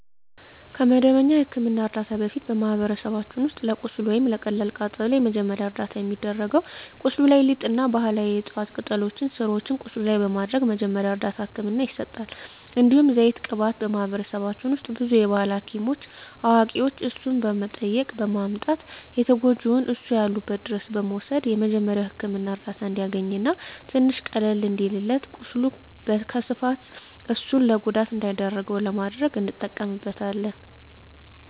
ከመደበኛ የሕክምና ዕርዳታ በፊት፣ በማኅበረሰባችን ውስጥ ለቁስል ወይም ለቀላል ቃጠሎ መጀመሪያ ደረጃ እርዳታ የሚደረገው ቁስሉ ላይ ሊጥ እና ባህላዊ የዕፅዋት ቅጠሎችን ስሮችን ቁስሉ ላይ በማድረግ መጀመሪያ እርዳታ ህክምና ይሰጣል። እንዲሁም ዘይት ቅባት በማህበረሰባችን ውስጥ ብዙ የባህል ሀኪሞች አዋቂዋች እነሱን በመጠየቅ በማምጣት ተጎጅውን እነሱ ያሉበት ድረስ በመውሰድ የመጀሪያዉ ህክምና እርዳታ እንዲያገኝ እና ትንሽ ቀለል እንዲልለት ቁስሉ ከስፋፋት እሱን ለጉዳት እንዳይዳርገው ለማድረግ እንጠቀምበታለን።